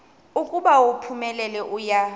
ukuba uphumelele uya